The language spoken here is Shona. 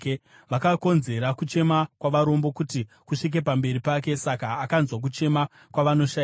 Vakakonzera kuchema kwavarombo kuti kusvike pamberi pake, zvokuti akanzwa kuchema kwavanoshayiwa.